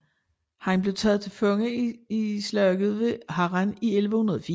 Han blev taget til fange i Slaget ved Harran i 1104